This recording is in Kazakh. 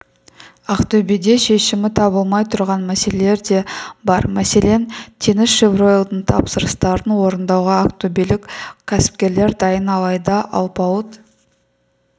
ақтөбеде шешімі табылмай тұрған мәселелер де бар мәселен теңізшевройлдың тапсырыстарын орындауға ақтөбелік кәсіпкерлер дайын алайда алпауыт